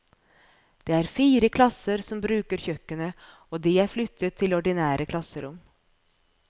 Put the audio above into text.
Det er fire klasser som bruker kjøkkenet, og de er flyttet til ordinære klasserom.